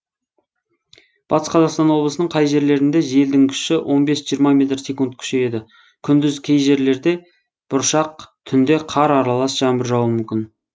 батыс қазақстан облысының кей жерлерінде желдің күші он бес жиырма метр секунд күшейеді күндіз кей жерлерде бұршақ түнде қар аралас жаңбыр жаууы мүмкін